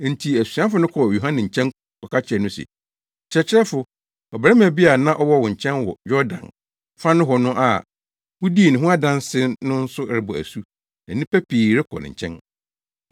Enti asuafo no kɔɔ Yohane nkyɛn kɔka kyerɛɛ no se, “Kyerɛkyerɛfo, ɔbarima bi a na ɔwɔ wo nkyɛn wɔ Yordan fa nohɔ no a wudii ne ho adanse no nso rebɔ asu na nnipa pii rekɔ ne nkyɛn.”